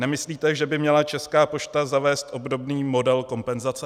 Nemyslíte, že by měla Česká pošta zavést obdobný model kompenzace?